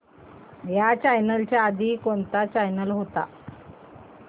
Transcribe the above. ह्या चॅनल च्या आधी कोणता चॅनल होता